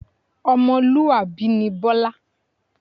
Ọmọlúwàbí ni Bọlá